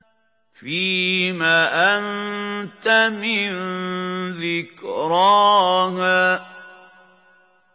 فِيمَ أَنتَ مِن ذِكْرَاهَا